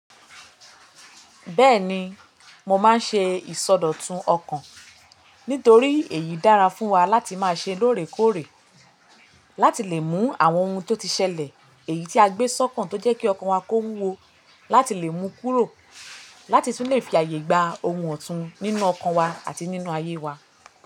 Bẹ́ẹ̀ni, mo máa ń ṣe ìsọdọ̀tun ọkàn nítorí èyí dára fún wa láti máa ṣe lóòrèkóòrè, láti lè mú àwọn ohun tó ti ṣẹlẹ̀ èyí tí a gbé sọ́kàn tó jẹ́ kí ọkàn wa kó wuwọ láti lè mú kúrò láti tún lè fi ààyè gba ohun ọ̀tún nínú ọkàn wa àti nínú ayé wa.